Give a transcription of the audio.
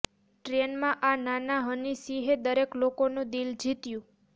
train માં આ નાના હની સિંહે દરેક લોકો નું દિલ જીત્યું